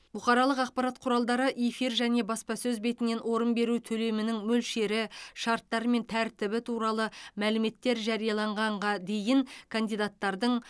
бұқаралық ақпарат құралдары эфир және баспасөз бетінен орын беру төлемінің мөлшері шарттары мен тәртібі туралы мәліметтер жарияланғанға дейін кандидаттардың